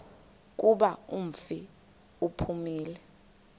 kuba umfi uphumile